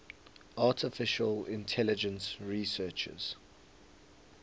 artificial intelligence researchers